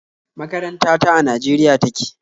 Makaranta ta a Najeriya take